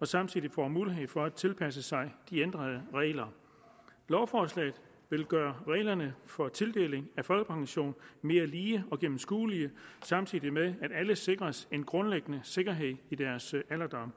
og samtidig får mulighed for at tilpasse sig de ændrede regler lovforslaget vil gøre reglerne for tildeling af folkepension mere lige og gennemskuelige samtidig med at alle sikres en grundlæggende sikkerhed i deres alderdom